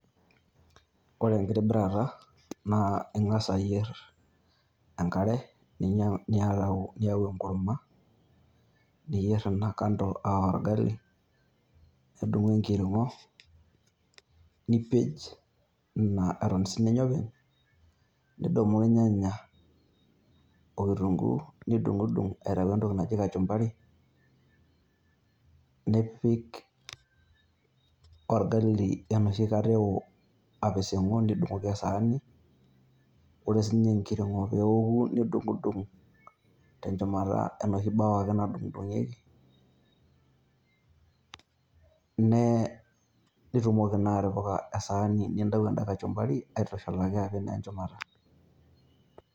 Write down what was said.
Ore enkitobirata naa eng'as ayierr enk'are ninya niyau enkurma niyierr ena kando aa orgali, nidumu enkirrring'o nipeny sininye ena Eton openy' nidumu irnyanya okitunguu nidung'udung' aitau entoki naji kachumbari, nipik orgali enoshi Kata eo apising'u nidung'oki esaani ore sininye engirng'o peeku nidung'udung' adung'oki enoshi BAO ake nadung'idung'ieki, nee nitumoki naa atipaka esaani nintau eda kachumbari aitushulaki naa apik shumata.